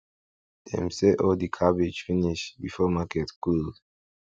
dem sell all the cabbage finish before market close